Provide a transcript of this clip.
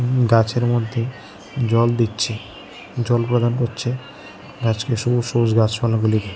গাছের মধ্যে জল দিচ্ছে জল প্রদান করছে গাছকে সবুজ সবুজ গাছপালাগুলি--